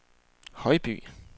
Højby